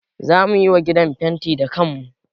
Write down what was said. Za mu yi wa gidan fenti da kanmu